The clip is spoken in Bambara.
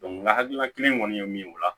n ka hakilina kelen kɔni ye min ye o la